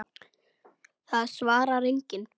Það svarar enginn